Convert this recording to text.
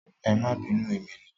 Ẹ máa bínú emi ni.